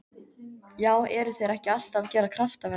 Já eru þeir ekki alltaf að gera kraftaverk?